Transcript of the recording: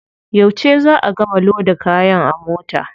Yauce za a gama loda kaya a mota?